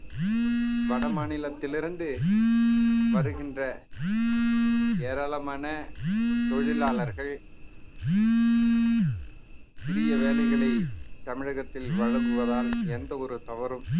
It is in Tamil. வடமாநிலத்தில் இருந்து வருகின்ற ஏராளமான தொழிலாளர்கள் சிறிய வேலைகளை தமிழகத்தில் வழங்குவதால் எந்த ஒரு தவறும்